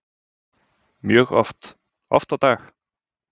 Mjög oft, oft á dag.